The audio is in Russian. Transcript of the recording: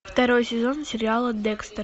второй сезон сериала декстер